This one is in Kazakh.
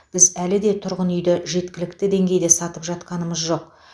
біз әлі де тұрғын үйді жеткілікті деңгейде салып жатқанымыз жоқ